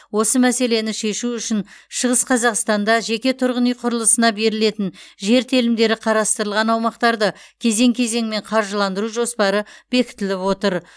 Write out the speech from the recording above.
осы мәселені шешу үшін шығыс қазақстанда жеке тұрғын үй құрылысына берілетін жер телімдері қарастырылған аумақтарды кезең кезеңмен қаржыландыру жоспары бекітіліп отыр